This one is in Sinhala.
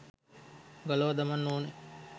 ගලවා දමන්න ඕන.